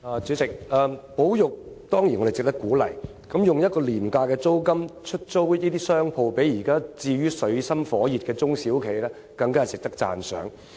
主席，保育當然值得鼓勵，用廉價租金出租商鋪給處於水深火熱的中小企，更值得讚賞。